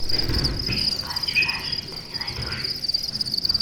фильм своя чужая жизнь ты мне найдешь